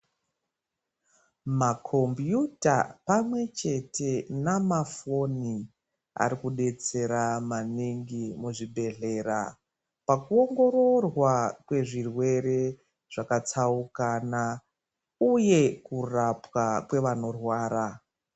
Makombiyuta pamwechete namafoni arikudzetsera maningi muzvibhedhlera pakuongororwa kwezvirwere zvakatsaukana, uye kurapwa kwevanorwara.